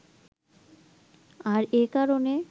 আর এ কারণে